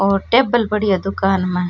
और टेबल पड़ी है दुकान में।